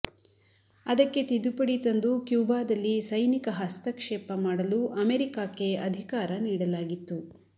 ಅದಕ್ಕೆ ತಿದ್ದುಪಡಿ ತಂದು ಕ್ಯೂಬಾದಲ್ಲಿ ಸೈನಿಕ ಹಸ್ತಕ್ಷೇಪ ಮಾಡಲು ಅಮೆರಿಕಾಕ್ಕೆ ಅಧಿಕಾರ ನೀಡಲಾಗಿತ್ತು